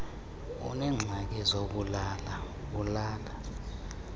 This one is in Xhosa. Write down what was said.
uneengxaki zokulala ulala